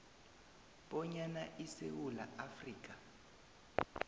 bonyana isewula afrika